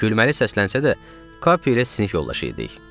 Gülməli səslənsə də, Kapiylə sinik yoldaşıydık.